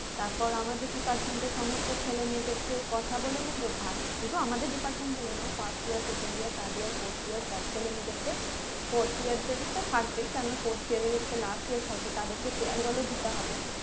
তারপর আমাদের department এর সমস্ত ছেলেমেয়েদেরকেউ কথা বলে নেবো বা শুধু আমাদের Department বলে নয় first year second year third year fourth year সব ছেলেমেয়েদেরকে fourth year তো থাকবেই কেননা fourth year এর এটা last year থাকবে তাদেরকে farewell দিতে হবে